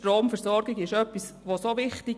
Die Stromversorgung ist etwas sehr Wichtiges.